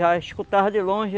Já escutava de longe